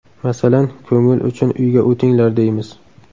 Masalan, ko‘ngil uchun uyga o‘tinglar deymiz.